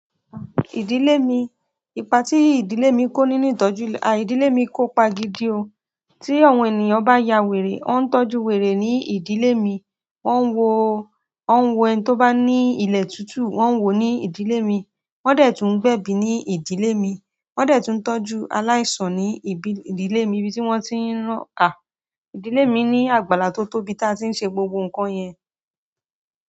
Ìdílé mi, ìpatí ìdílé mi kó nínú ìtọ́jú, à ídílé mi kópa gidi o. Tí àwọn ènìyàn bá ya wèrè, o ń tọ́jú wèrè ní ìdílé mi. Wọn wò, wọn wo ẹni tó bá ní ilẹ̀ tútù, won wò ní ìdílé mi. Wọn dẹ̀ tún ń gbẹbi ní ìdílé mi. Wọn dẹ̀ tún ń tọ́jú aláìsàn ní ibi, ìdílé mi ibí wọ́n ti ń rán à. Ìdílé mi ní àgbàlá tó tóbi tí a ti ń ṣe gbogbo ǹkan yẹn.